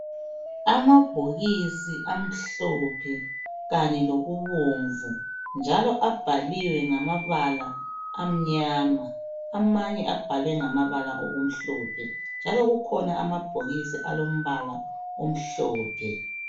Amabhokisi amhlophe kanye lokubomvu njalo abhaliwe ngamabala amnyama amanye abhalwe ngamabala amhlophe. Njalo kukhona amabhokisi alombala omhlophe